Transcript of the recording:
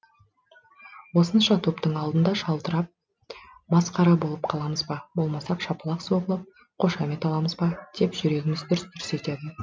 осынша топтың алдында шалдырып масқара болып қаламыз ба болмаса шапалақ соғылып қошамет аламыз ба деп жүрегіміз дүрс дүрс етеді